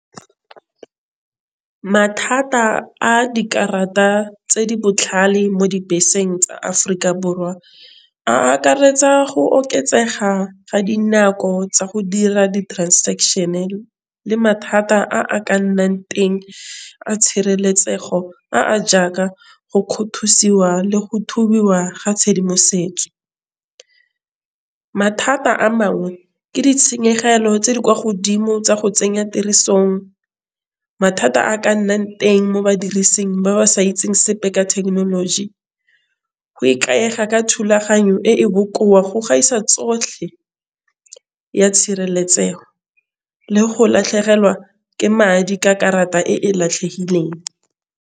Mathata a dikarata tse di botlhale mo dibeseng tsa Aforika Borwa a akaretsa go oketsega ga dinako tsa go dira di-transaction le mathata a a ka nnang teng a tshireletsego a a jaaka go kgothosiwa go thubiwa ga tshedimosetso. Mathata a mangwe ke ditshenyegelo tse di kwa godimo tsa go tsenya tirisong mathata a ka nnang teng mo badirising ba ba sa itse sepe ka thekenoloji. Go ikaega ka thulaganyo e e bokoa go gaisa tsotlhe ya tshireletsego le go latlhegelwa ke madi ka karata e latlhegileng.